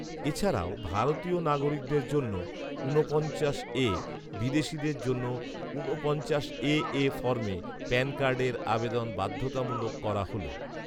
এছাড়াও, ভারতীয় নাগরিকদের জন্য ঊনপঞ্চাশ এ ,বিদেশিদের জন্য ঊনপঞ্চাশ এ এ ফর্মে প্যান কার্ডের আবেদন বাধ্যতামূলক করা হল